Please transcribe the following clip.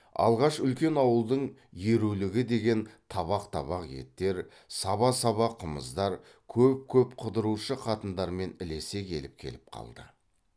алғаш үлкен ауылдың ерулігі деген табақ табақ еттер саба саба қымыздар көп көп қыдырушы қатындармен ілесе келіп келіп қалды